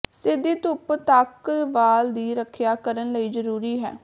ਸਿੱਧੀ ਧੁੱਪ ਤੱਕ ਵਾਲ ਦੀ ਰੱਖਿਆ ਕਰਨ ਲਈ ਜਰੂਰੀ ਹੈ